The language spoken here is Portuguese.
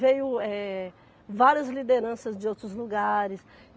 Veio, eh, várias lideranças de outros lugares.